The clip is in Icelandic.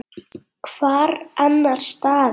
Hvar annars staðar!